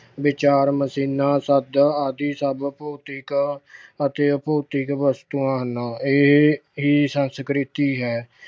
ਵਿਚਾਰ machines, ਆਦਿ ਸਭ ਭੌਤਿਕ ਅਤੇ ਅਭੌਤਿਕ ਵਸਤਾਂ ਹਨ। ਇਹ ਅਹ ਇਹ ਸੰਸਕ੍ਰਿਤੀ ਹੈ।